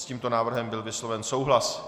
S tímto návrhem byl vysloven souhlas.